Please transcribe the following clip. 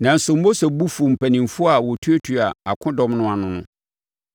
Nanso, Mose bo fuu mpanimfoɔ a wɔtuatua akodɔm no ano no.